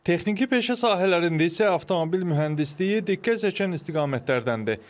Texniki peşə sahələrində isə avtomobil mühəndisliyi diqqət çəkən istiqamətlərdəndir.